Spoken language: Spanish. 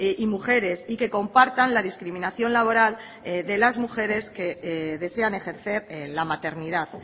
y mujeres y que compartan la discriminación laboral de las mujeres que desean ejercer la maternidad